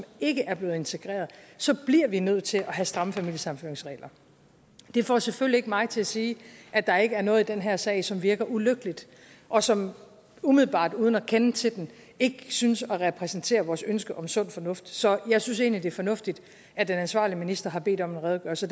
ikke er blevet integreret så bliver vi nødt til at have stramme familiesammenføringsregler det får selvfølgelig ikke mig til at sige at der ikke er noget i den her sag som virker ulykkeligt og som umiddelbart uden at kende til den ikke synes at repræsentere vores ønske om sund fornuft så jeg synes egentlig det er fornuftigt at den ansvarlige minister har bedt om en redegørelse